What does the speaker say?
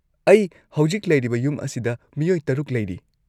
ꯑꯩ ꯍꯧꯖꯤꯛ ꯂꯩꯔꯤꯕ ꯌꯨꯝ ꯑꯁꯤꯗ ꯃꯤꯑꯣꯏ ꯶ ꯂꯩꯔꯤ꯫